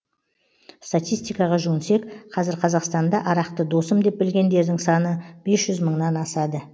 статистикаға жүгінсек қазір қазақстанда арақты досым деп білгендердің саны бес жүз мыңнан асады